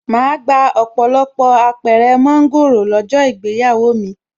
Màá gba ọ̀pọ̀lọpọ̀ Apẹ̀rẹ̀ mọ́ńgòrò lọ́jọ́ ìgbéyàwó mi